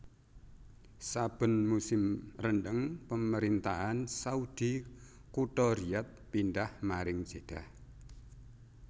Saben musim rendeng Pemerintahan Saudi kutha Riyadh pindhah maring Jeddah